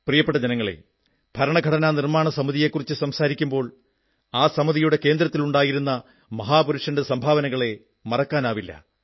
പ്രിയപ്പെട്ട ജനങ്ങളേ ഭരണഘടനാ നിർമ്മാണസമിതിയെക്കുറിച്ച് സംസാരിക്കുമ്പോൾ ആ സമിതിയുടെ കേന്ദ്രത്തിലുണ്ടായിരുന്ന മഹാപുരുഷന്റെ സംഭാവനകളെ മറക്കാനാവില്ല